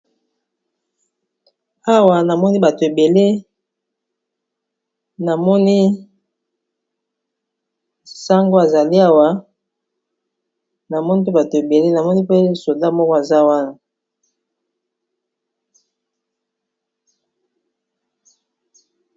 awa namoni bato ebele namoni sango azali hawa namoni mpe bato ebele namoni mpe soda moko aza wana